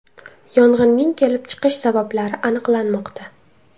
Yong‘inning kelib chiqish sabablari aniqlanmoqda.